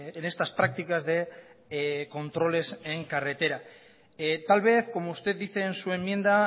en estas prácticas de controles en carretera tal vez como usted dice en su enmienda